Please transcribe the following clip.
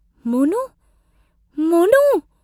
Monu! Monu!